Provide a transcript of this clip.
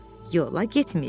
Yola getmirik.